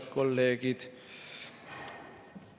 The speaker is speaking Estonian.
Head kolleegid!